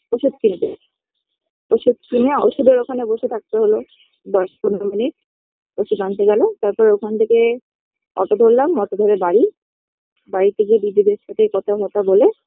ওষুধ কিনতে ওষুধ কিনে ওষুধের ওখানে বসে থাকতে হলো দশ পনেরো মিনিট ওষুধ আনতে গেল তারপরে ওখান থেকে auto ধরলাম auto ধরে বাড়ি বাড়িতে গিয়ে দিদিদের সাথে কথা ফতা বলে